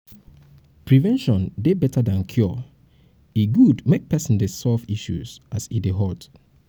prevention dey better than cure e good make person dey solve issue as e dey hot